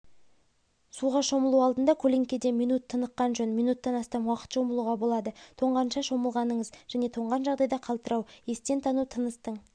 суға шомылу алдында көлеңкеде минут тыныққан жөн минуттан астам уақыт шомылуға болады тоңғанша шомылмағаныңыз жөн тоңған жағдайда қалтырау естен тану тыныстың